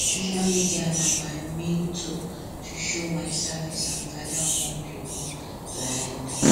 social media na my main tool to show my service and gather more people um